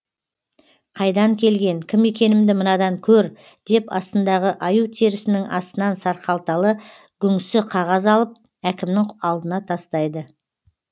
қайдан келген кім екенімді мынадан көр деп астындағы аю терсінің астынан сарқалталы гүңсі қағаз алып әкімнің алдына тастайды